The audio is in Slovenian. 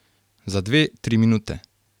Za dve, tri minute.